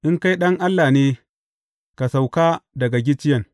In kai Ɗan Allah ne, ka sauka daga gicciyen!